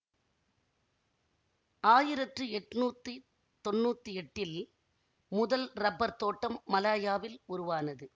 ஆயிரற்று எட்ணூத்தி தொன்னூத்தி எட்டில் முதல் ரப்பர் தோட்டம் மலாயாவில் உருவானது